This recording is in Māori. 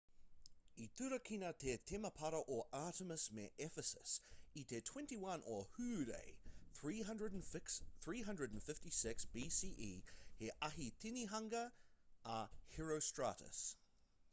i turakina te temepara o artemis me ephesus i te 21 o hūrae 356 bce he ahi tinihanga a herostratus